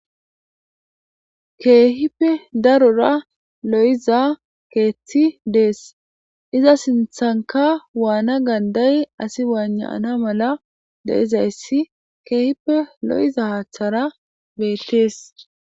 keehipe darora lo'iza keeththi dees, iza sinthanka waana ganday asi wayna'ana mala de'izayssi keehippe lo'iza haaththara beettees